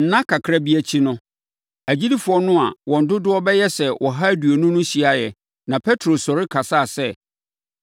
Nna kakra bi akyi no, agyidifoɔ no a wɔn dodoɔ bɛyɛ sɛ ɔha aduonu no hyiaeɛ na Petro sɔre kasaa sɛ: